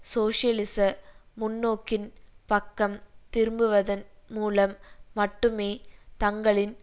சோசியலிச முன்னோக்கின் பக்கம் திரும்புவதன் மூலம் மட்டுமே தங்களின்